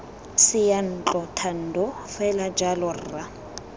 seyantlo thando fela jalo rra